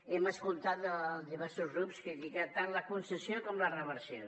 hem escoltat diversos grups criticar tant la concessió com la reversió